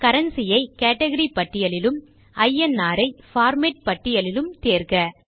currency ஐ category பட்டியலிலும் INR ஐ பார்மேட் பட்டியலிலும் தேர்வு செய்க